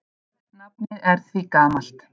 Nafnið er því gamalt.